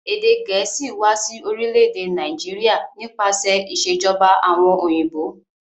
Èdè gẹ̀ẹ̀síì wa si orílẹ̀dè Naijiria nípasẹ̀ ìsèjoba àwon òyìnbó